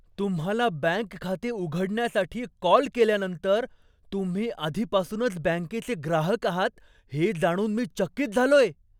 तुम्हाला बँक खाते उघडण्यासाठी कॉल केल्यानंतर तुम्ही आधीपासूनच बँकेचे ग्राहक आहात हे जाणून मी चकित झालोय.